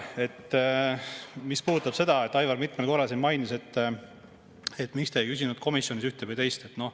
Mis puudutab seda, mida Aivar mitmel korral mainis, et miks te ei küsinud komisjonis ühte või teist …